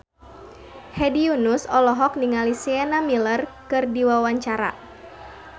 Hedi Yunus olohok ningali Sienna Miller keur diwawancara